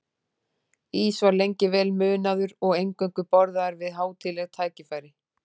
Ís var lengi vel munaður og eingöngu borðaður við hátíðleg tækifæri.